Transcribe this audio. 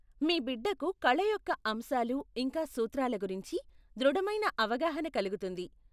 మీ బిడ్డకు కళ యొక్క అంశాలు ఇంకా సూత్రాల గురించి దృఢమైన అవగాహన కలుగుతుంది.